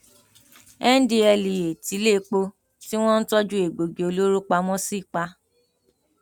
ndtea tiléèpo tí wọn ń tọjú egbòogi olóró pamọ sí pa